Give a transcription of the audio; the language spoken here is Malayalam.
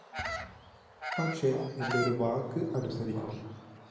പക്ഷെ എന്റെ ഒരു വാക്ക് അനുസരിക്കണം